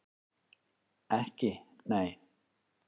Ekki nei?